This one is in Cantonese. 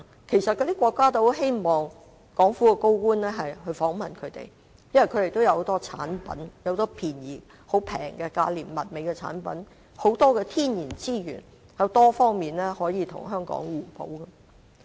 其實，那些國家也十分希望港府的高層官員訪問他們，因為他們有很多價廉物美的產品和豐富的天然資源，可以在多方面跟香港互補。